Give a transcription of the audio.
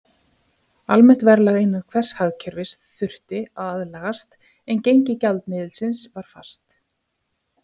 Almennt verðlag innan hvers hagkerfis þurfti að aðlagast, en gengi gjaldmiðilsins var fast.